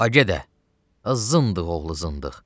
Ay gedə, zındıq oğlu zındıq.